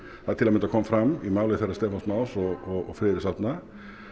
það til að mynda kom fram í máli þeirra Stefáns Más og Friðriks Árna